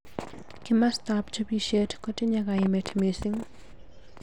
Kimosta ab chobishet kotinye kaimet mising.